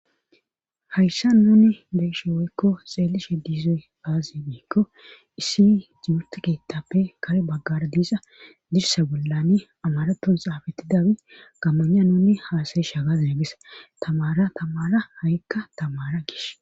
hayssan nuni be7ishe woykko xeelishe diizoy aazee gikko issi timirte keettappe kare baggara diiza dirsa bollani amaraton xaafetidawi gammognan nunni haasayish hagaza nagesa tamara tamara ha7ikka tamara gish